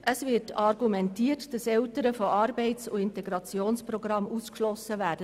Natürlich wollen wir nicht, dass solche Eltern von Integrationsprogrammen ausgeschlossen werden.